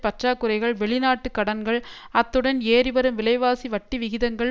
பற்றாக்குறைகள் வெளிநாட்டு கடன்கள் அத்துடன் ஏறிவரும் விலைவாசி வட்டிவிகிதங்கள்